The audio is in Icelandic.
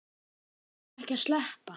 Hann á ekki að sleppa.